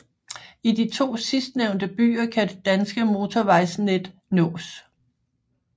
I de to sidstnævne byer kan det danske motorvejsnet nås